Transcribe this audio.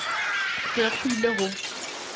go ya go ile go